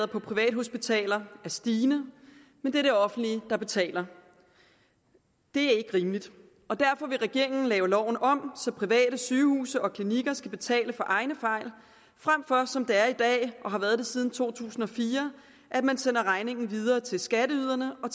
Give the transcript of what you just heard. på privathospitaler er stigende men det er det offentlige der betaler det er ikke rimeligt derfor vil regeringen lave loven om så private sygehuse og klinikker skal betale for egne fejl frem for at man som det er i dag og har været siden to tusind og fire sender regningen videre til skatteyderne og